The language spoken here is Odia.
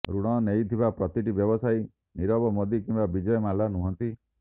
ଋଣ ନେଇଥିବା ପ୍ରତିଟି ବ୍ୟବସାୟୀ ନିରବ ମୋଦୀ କିମ୍ବା ବିଜୟ ମାଲ୍ୟା ନୁହନ୍ତି